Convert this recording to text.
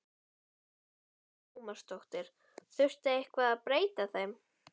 Átökin milli feðginanna urðu snögg og hörð.